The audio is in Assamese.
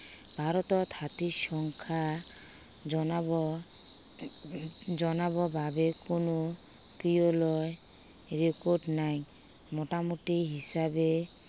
ভাৰতত হাতীৰ সংখ্যা জনাব, জনাব বাবে কোনো, পিয়লৰ ৰিপৰ্ট নাই। মুটামুটি হিচাবে